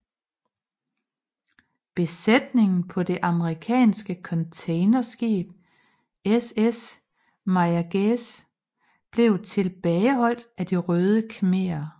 Besætningen på det amerikanske containerskib SS Mayaguez blev tilbageholdt af De Røde Khmerer